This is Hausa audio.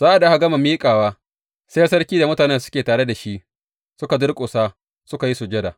Sa’ad da aka gama miƙawa, sai sarki da mutanen da suke tare da shi suka durƙusa suka yi sujada.